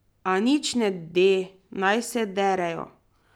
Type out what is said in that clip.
A nič ne de, naj se derejo.